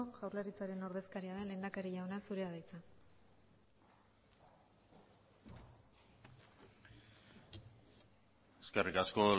jaurlaritzaren ordezkaria den lehendakari jauna zurea da hitza eskerrik asko